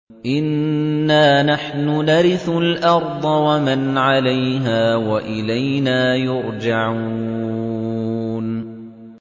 إِنَّا نَحْنُ نَرِثُ الْأَرْضَ وَمَنْ عَلَيْهَا وَإِلَيْنَا يُرْجَعُونَ